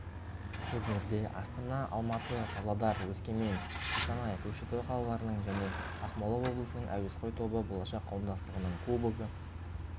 турнирде астана алматы павлодар өскемен қостанай көкшетау қалаларының және ақмола облысының әуесқой тобы болашақ қауымдастығының кубогы